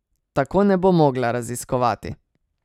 Tako ne bo mogla raziskovati.